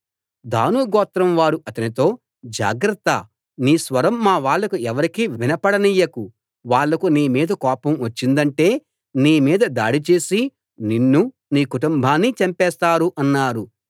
దాను గోత్రం వారు అతనితో జాగ్రత్త నీ స్వరం మా వాళ్లకు ఎవరికీ వినపడనీయకు వాళ్ళకు నీమీద కోపం వచ్చిందంటే నీమీద దాడి చేసి నిన్నూ నీ కుటుంబాన్నీ చంపేస్తారు అన్నారు